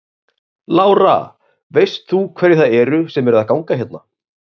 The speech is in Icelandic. Lára: Veist þú hverjir það eru sem eru að ganga hérna?